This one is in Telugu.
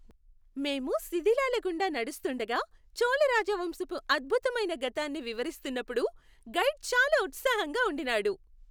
మేము శిధిలాల గుండా నడుస్తుండగా చోళ రాజవంశపు అద్భుతమైన గతాన్ని వివరిస్తున్నప్పుడు గైడ్ చాలా ఉత్సాహంగా ఉండినాడు.